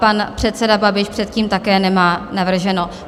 Pan předseda Babiš předtím také nemá navrženo.